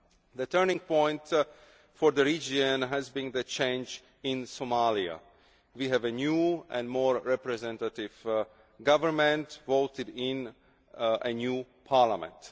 The turning point for the region has been the changes in Somalia. We have a new and more representative government, voted in by a new parliament.